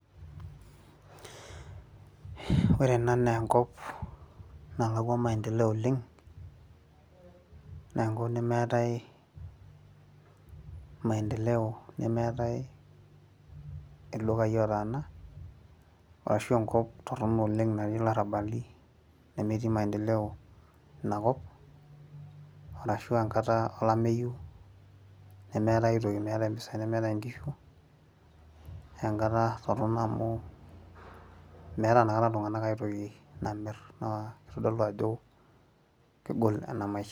ore ena naa enkop nalakua maendeleo oleng. naa enkop nemeetae maendeleo nemeetae ildukai otaana, ashu enkop torono oleng natii ilarabali. nemetii maendeleo ina kop. arashu enkata olameyu nemeetae aitoki, nemeetae impisai, nemeetae inkishu. naa enkata torono amu, meeta ina kata iltunganak aitoki namir, naa kitodlu ajo kegol ena maisha.